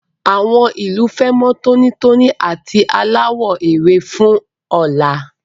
Àwọn ìlú fẹ́ mọ́ tónítóní àti aláwọ̀ ewé fún ọ̀la.